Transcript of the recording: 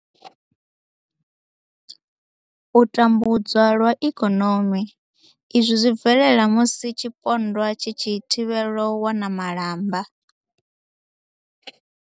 U tambudzwa lwa ikonomi, Izwi zwi bvelela musi tshipondwa tshi tshi thivhelwa u wana malamba.